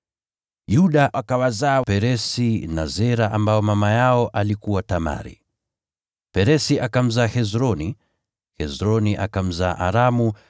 Yuda akawazaa Peresi na Zera, ambao mama yao alikuwa Tamari, Peresi akamzaa Hesroni, Hesroni akamzaa Aramu,